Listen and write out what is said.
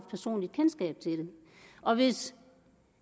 kendskab til det og hvis